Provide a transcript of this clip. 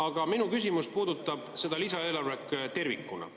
Aga minu küsimus puudutab lisaeelarvet tervikuna.